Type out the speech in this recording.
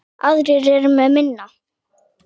Aðrir eru með minna.